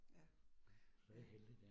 Ja, ja